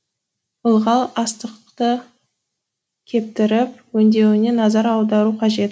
ылғал астықты кептіріп өңдеуіне назар аудару қажет